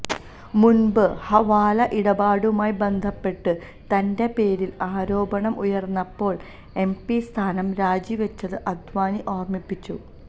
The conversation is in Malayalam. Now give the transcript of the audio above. മുന്പ് ഹവാല ഇടപാടുമായി ബന്ധപ്പെട്ട് തന്റെ പേരില് ആരോപണം ഉയര്ന്നപ്പോള് എംപി സ്ഥാനം രാജിവച്ചത് അദ്വാനി ഓര്മിപ്പിച്ചു